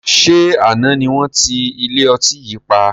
Ṣé àná ni wọn ti ilé ọtí yìí pa?